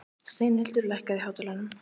Steinhildur, lækkaðu í hátalaranum.